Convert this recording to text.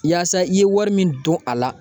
Yaasa i ye wari min don a la